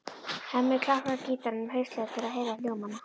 Hemmi klappar gítarnum lauslega til að heyra hljómana.